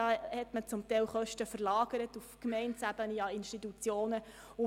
Es wurden teilweise Kosten auf Gemeindeebene oder Institutionen verlagert.